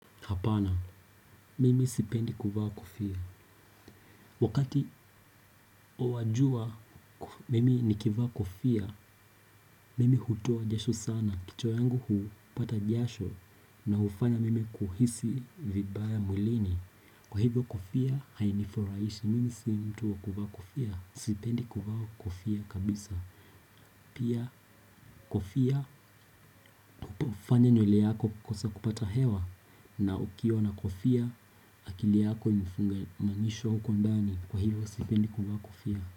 Hapana, mimi sipendi kuvaa kofia. Wakati wa jua mimi nikivaa kofia, mimi hutoa jasho sana. Kichwa yangu hupata jasho na hufanya mimi kuhisi vibaya mwilini. Kwa hivyo kofia, hainifurahishi, mimi si mtu wa kuvaa kofia. Sipendi kuvaa kofia kabisa. Pia kofia, hufanya nywele yako kukosa kupata hewa. Na ukiwa na kofia, akili yako imefungamanishwa huko ndani. Kwa hivyo sipendi kuvaa kofia.